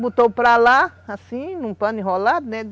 Botou para lá, assim, num pano enrolado,